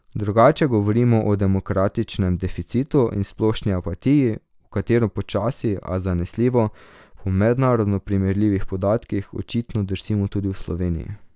Drugače govorimo o demokratičnem deficitu in splošni apatiji, v katero počasi, a zanesljivo, po mednarodno primerljivih podatkih, očitno drsimo tudi v Sloveniji.